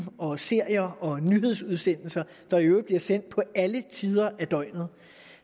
og serier og nyhedsudsendelser der i øvrigt bliver sendt på alle tider af døgnet